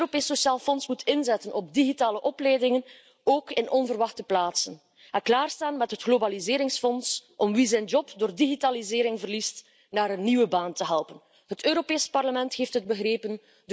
Het Europees Sociaal Fonds moet inzetten op digitale opleidingen, ook op onverwachte plaatsen, en we moeten klaarstaan met het Globaliseringsfonds om wie zijn job door digitalisering verliest naar een nieuwe baan te helpen. Het Europees Parlement heeft het begrepen.